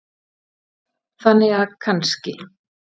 Þannig að kannski.